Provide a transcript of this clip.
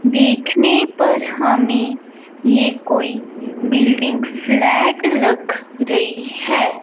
देखने पर हमें ये कोई बिल्डिंग स्लैट लग रही है।